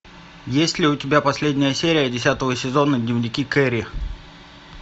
есть ли у тебя последняя серия десятого сезона дневники кэрри